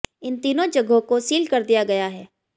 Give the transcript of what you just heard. इन तीनों जगहों को सील कर दिया गया है